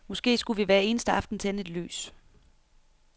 Måske skulle vi hver eneste aften tænde et lys.